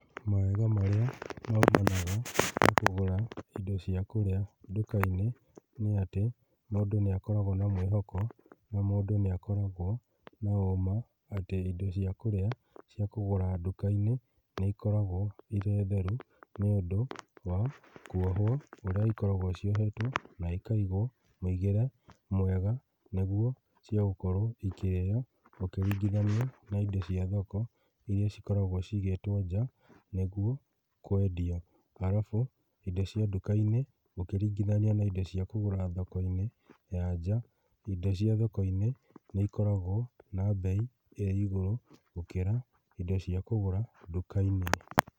Mawega marĩa maumanaga na kũgũra indo cia kũrĩa ndũka-inĩ nĩ atĩ, mũndũ nĩ akoragwo na mwĩhoko, na mũndũ nĩakoragwo na ũũma atĩ indo cia kũrĩa cia kũgũra nduka-inĩ nĩ ikoragwo irĩ theru nĩũndũ wa kuohwo ũrĩa ikoragwo ciohetwo na ikaigwo mũigĩre mwega nĩguo cigũkorwo cikĩrĩo, ũkĩringithania na indo cia thoko, iria cikoragwo ciigĩtwo nja nĩguo kwendio. Halafu indo cia nduka-inĩ ũkĩringithania na indo cia kũgũra thoko-inĩ ya nja, indo cia thoko-inĩ nĩ ikoragwo na mbei ĩ igũrũ gũkĩra indo cia kũgũra nduka-inĩ.